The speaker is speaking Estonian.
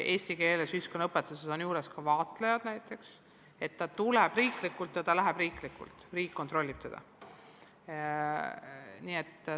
Eesti keele ja ühiskonnaõpetuse eksamil on juures ka vaatlejad, kontroll on riiklik, riik kontrollib koole.